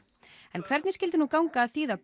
en hvernig skyldi nú ganga að þýða